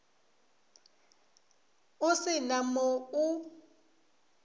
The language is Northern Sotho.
o se na mo o